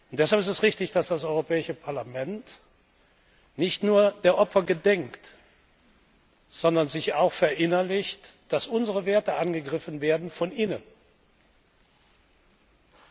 Deshalb ist es richtig, dass das Europäische Parlament nicht nur der Opfer gedenkt, sondern sich auch verinnerlicht, dass unsere Werte von innen angegriffen werden.